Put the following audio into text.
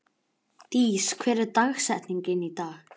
Dís, hver er dagsetningin í dag?